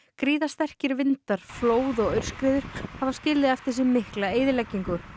gríðarsterkir vindar flóð og aurskriður hafa skilið eftir sig mikla eyðileggingu